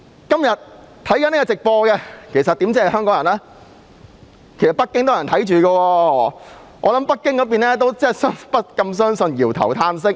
今天正收看直播的不單香港人，還有北京的人，我想北京方面也不敢相信，搖頭嘆息。